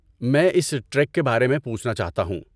میں اس ٹریک کے بارے میں پوچھنا چاہتا ہوں۔